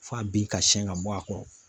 F'a bin ka sɛn ka bɔ a kɔrɔ